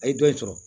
A ye dɔ in sɔrɔ